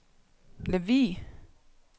Lemvug